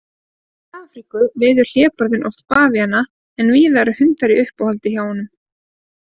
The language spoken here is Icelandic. Í Afríku veiðir hlébarðinn oft bavíana en víða eru hundar í uppáhaldi hjá honum.